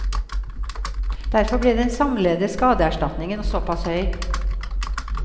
Derfor blir den samlede skadeserstatningen såpass høy.